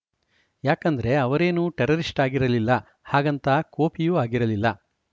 ಯಾಕಂದ್ರೆ ಅವರೇನು ಟೆರರಿಸ್ಟ್‌ ಆಗಿರಲಿಲ್ಲ ಹಾಗಂತ ಕೋಪಿಯೂ ಆಗಿರಲಿಲ್ಲ